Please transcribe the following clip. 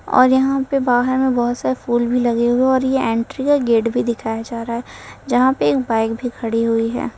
और यहां पे बाहर में बोहोत से फूल भी लगे हुए और यह एंट्री का गेट भी दिखाया जा रहा है जहां पे एक बाइक भी खड़ी हुई है।